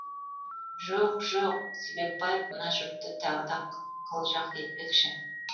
жоқ жоқ себепбаев мына жұртты тағы да қылжақ етпекші